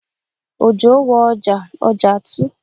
Òjò wo ọjà, ọjà tu